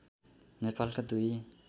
नेपालका दुई